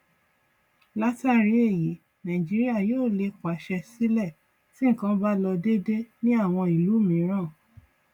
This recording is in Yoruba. látàrí èyí nàìjíríà yóò lè pàṣẹ sílẹ tí nkan bá lọ dédé ní àwọn ìlú mìíràn